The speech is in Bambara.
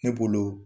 Ne bolo